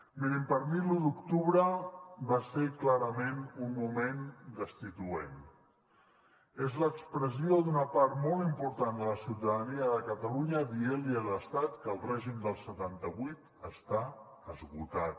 mirin per mi l’u d’octubre va ser clarament un moment destituent és l’expressió d’una part molt important de la ciutadania de catalunya dient li a l’estat que el règim del setanta vuit està esgotat